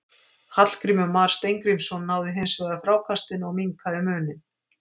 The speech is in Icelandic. Hallgrímur Mar Steingrímsson náði hins vegar frákastinu og minnkaði muninn.